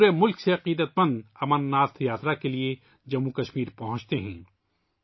پورے ملک سے عقیدت مند امرناتھ یاترا کے لیے جموں و کشمیر پہنچتے ہیں